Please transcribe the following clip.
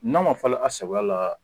N'a ma falen à sagoya la